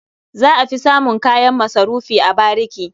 Za a fi samun kayan masarufi a bariki.